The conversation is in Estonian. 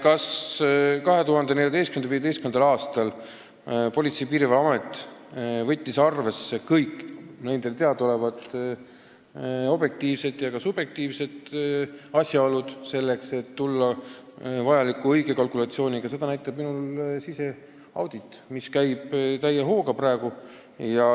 Kas 2014.-2015. aastal Politsei- ja Piirivalveamet võttis arvesse kõiki nendele teadaolevaid objektiivseid ja ka subjektiivseid asjaolusid, et tulla välja õige kalkulatsiooniga, seda näitab meie siseaudit, mis käib praegu täie hooga.